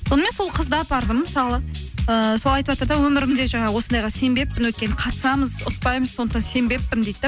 сонымен сол қызды апардым мысалы ііі сол айтыватыр да өмірімде жаңағы осындайға сенбеппін өйткені қатысамыз ұтпаймыз сондықтан сенбеппін дейді де